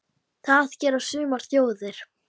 Það gera sumar þjóðir.